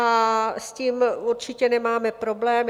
A s tím určitě nemáme problém.